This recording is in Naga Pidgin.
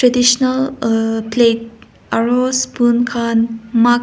tisno or plate aru spoon khan muk --